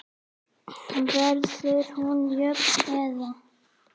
Verður hún jöfn eða?